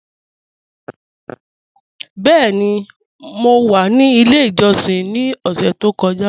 Bẹẹ̀ni, mọ wa ní ilẹ̀ ìjọ́ṣìn ni ọ̀ṣẹ̀ tó kọ́ja.